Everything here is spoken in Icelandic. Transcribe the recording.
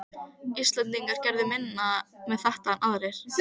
Íslendingarnir gerðu minna með þetta en aðrir.